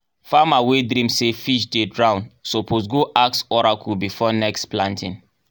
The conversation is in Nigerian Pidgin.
farmer wey dream say fish dey drown suppose go ask oracle before next planting.